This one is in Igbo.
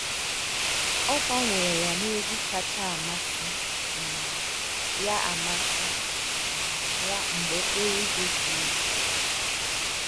Ogbanwere ya n’egwu kacha amasị um ya amasị um ya mgbe okporo ụzọ juru ike